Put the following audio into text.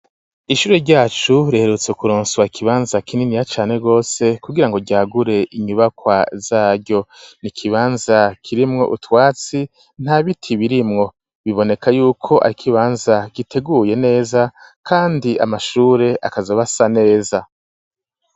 Ishure ryacu, reherutse kuronswa ikibanza kininiya cane gose, kugira ngo ryagure inyubakwa zaryo, ni ikibanza kirimwo utwatsi, nta biti birimwo, biboneka y'uko ari ikibanza giteguye neza kandi amashure akazoba asa neza.